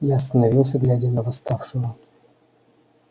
я остановился глядя на восставшего